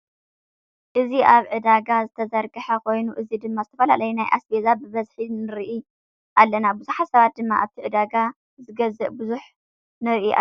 እዚ ኣብ ዒዳጋ ዝተዘርገሐ ኮይኑ እዚ ድማ ዝተፈላለዩ ናይ ኣስቤዛ ብበዝሒ ንርኢ ኣለና። ቡዙሕ ሰብ ድማ ኣብቲ ዕደጋ ዝገዝእ ቡዙሕ ንርኢ ኣለና ።